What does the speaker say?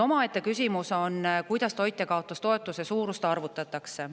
Omaette küsimus on, kuidas toitjakaotustoetuse suurust arvutatakse.